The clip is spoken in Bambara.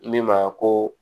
Min ma ko